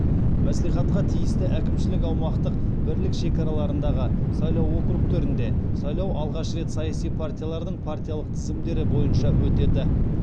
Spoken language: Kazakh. мәслихатқа тиісті әкімшілік аумақтық бірлік шекараларындағы сайлау округтерінде сайлау алғаш рет саяси партиялардың партиялық тізімдері бойынша өтеді